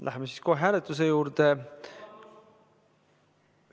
Läheme siis kohe hääletuse juurde.